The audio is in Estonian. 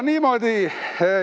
Niimoodi.